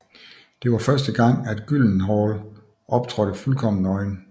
Det var første gang at Gyllenhaal optrådte fuldkommen nøgen